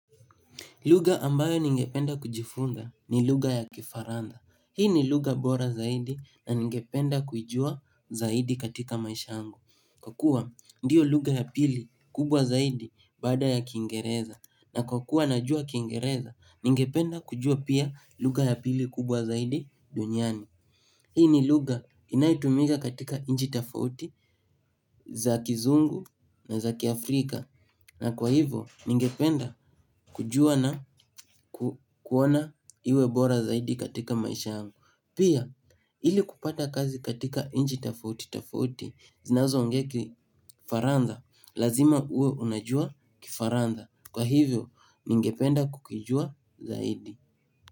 Lugha ambayo ningependa kujifunza ni lugha ya kifaransa. Hii ni lugha bora zaidi na ningependa kuijua zaidi katika maisha yangu. Kwa kuwa ndiyo lugha ya pili kubwa zaidi baada ya kiingereza. Na kwa kuwa najua kiingereza, ningependa kujua pia lugha ya pili kubwa zaidi duniani. Hii ni lugha inayotumika katika nchi tofauti za kizungu na za kiafrika. Na kwa hivyo, ningependa kujua na kuona iwe bora zaidi katika maisha yangu. Pia, ili kupata kazi katika nchi tofauti tofauti zinazo ongea faransa, lazima uwe unajua kifaransa Kwa hivyo, ningependa kukijua zaidi.